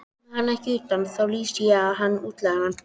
Komi hann ekki utan, þá lýsi ég hann útlægan.